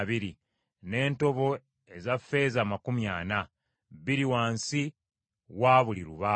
n’entobo eza ffeeza amakumi ana, bbiri wansi wa buli lubaawo.